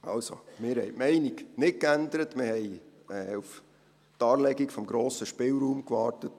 Also: Wir haben die Meinung nicht geändert, wir haben auf die Darlegung des grossen Spielraums gewartet.